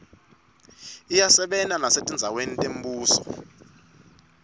iyasebenta nesetindzaweni temibuso